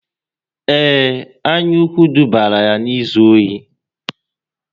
Ee, anyaukwu dubara ya n'izu ohi